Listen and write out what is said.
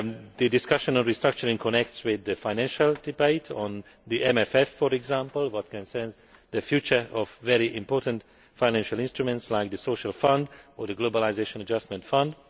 The discussion on restructuring connects with the financial debate on the MFF, for example, which concerns the future of very important financial instruments such as the Social Fund and the Globalisation Adjustment Fund.